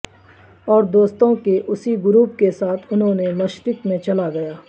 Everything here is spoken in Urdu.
اور دوستوں کے اسی گروپ کے ساتھ انہوں نے مشرق میں چلا گیا